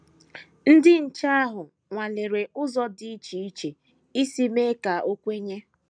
Ndị nche ahụ nwalere ụzọ dị iche iche isi mee ka o kwenye.